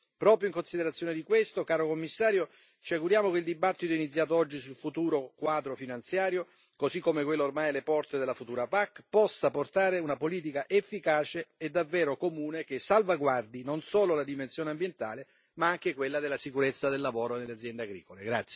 Proprio in considerazione di questo, caro Commissario, ci auguriamo che il dibattito iniziato oggi sul futuro quadro finanziario così come quello ormai alle porte sulla futura PAC possa portare a una politica efficace e davvero comune che salvaguardi non solo la dimensione ambientale ma anche quella della sicurezza del lavoro nelle aziende agricole.